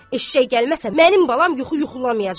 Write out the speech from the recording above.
Eşşək gəlməsə, mənim balam yuxu yuxulamayacaq.